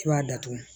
I b'a datugu